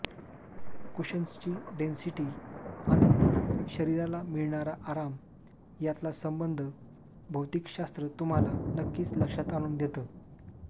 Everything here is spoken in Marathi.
कुशन्सची डेंसिटी आणि शरीराला मिळणारा आराम यातला संबंध भौतिकशास्त्र तुम्हाला नक्कीच लक्षात आणून देतं